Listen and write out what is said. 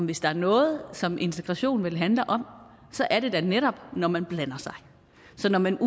hvis der er noget som integration vel handler om så er det da netop når man blander sig så når man